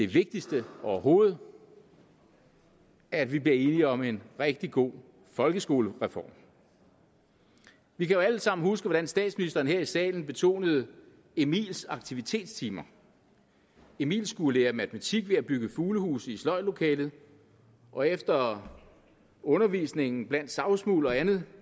vigtigste overhovedet at vi bliver enige om en rigtig god folkeskolereform vi kan jo alle sammen huske hvordan statsministeren her i salen betonede emils aktivitetstimer emil skulle lære matematik ved at bygge fuglehuse i sløjdlokalet og efter undervisningen blandt savsmuld og andet